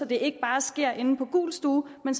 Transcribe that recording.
det ikke bare sker inde på gul stue men